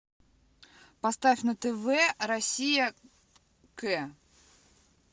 поставь на тв россия к